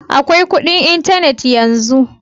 Akwai kudin intanet yanzu.